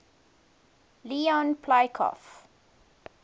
leon poliakov